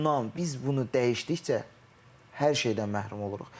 Bundan biz bunu dəyişdikcə hər şeydən məhrum oluruq.